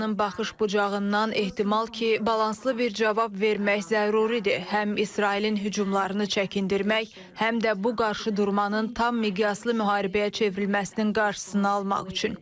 İranın baxış bucağından ehtimal ki, balanslı bir cavab vermək zəruridir, həm İsrailin hücumlarını çəkindirmək, həm də bu qarşıdurmanın tam miqyaslı müharibəyə çevrilməsinin qarşısını almaq üçün.